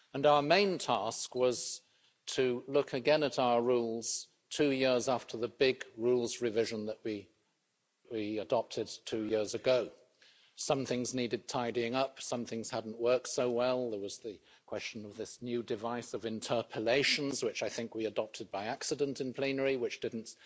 Our main task was to look again at our rules, two years after the big rules revision that we adopted two years ago. Some things needed tidying up, some things hadn't worked so well there was the question of this new device of interpellations, which I think we adopted by accident in plenary, and which didn't